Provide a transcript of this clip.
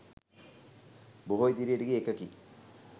බොහෝ ඉදිරියට ගිය එකකි.